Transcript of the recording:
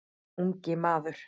Ungi maður